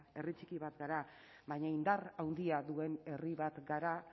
herri txiki bat gara baina indar handia duen herri bat gara